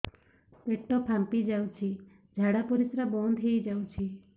ପେଟ ଫାମ୍ପି ଯାଉଛି ଝାଡା ପରିଶ୍ରା ବନ୍ଦ ହେଇ ଯାଉଛି